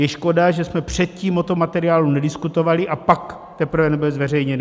Je škoda, že jsme předtím o tom materiálu nediskutovali, a pak teprve nebyl zveřejněný.